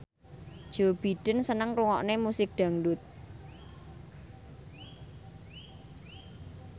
Joe Biden seneng ngrungokne musik dangdut